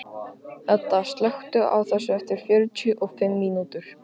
Hedda, slökktu á þessu eftir fjörutíu og fimm mínútur.